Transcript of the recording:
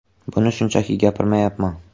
Buni shunchaki gapirmayapman.